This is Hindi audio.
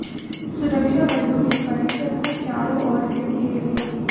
सुरक्षाबलों ने परिसर को चारों ओर से घेर लिया